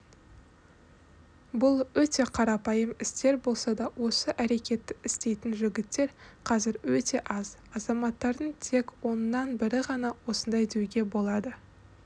бұл өте қарапайым істер болса да осы әрекетті істейтін жігіттер қазір өте аз азаматтардың тек оннан бірі ғана осындай деуге болады